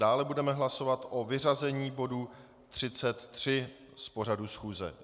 Dále budeme hlasovat o vyřazení bodu 33 z pořadu schůze.